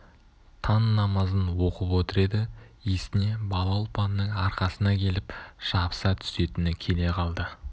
таң намазын оқып отыр еді есіне бала ұлпанның арқасына келіп жабыса түсетіні келе қалды